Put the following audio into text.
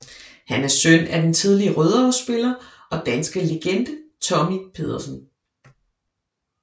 Han er søn af den tidligere Rødovre spiller og danske legende Tommy Pedersen